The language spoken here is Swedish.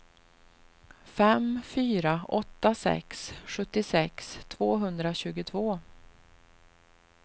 fem fyra åtta sex sjuttiosex tvåhundratjugotvå